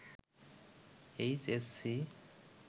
H S C